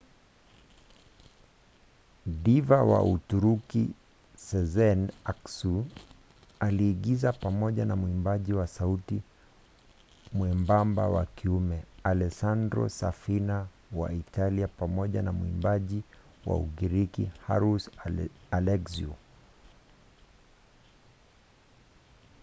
diva wa uturuki sezen aksu aliigiza pamoja na mwimbaji wa sauti mwembamba wa kiume alessandro safina wa italia pamoja na mwimbaji wa ugiriki haris alexiou